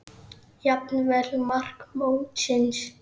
Jafnvel mark mótsins?